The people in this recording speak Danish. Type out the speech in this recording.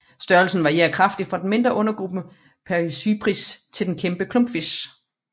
Størrelsen varierer kraftigt fra den mindre undergruppe Paedocypris til den kæmpe klumpfisk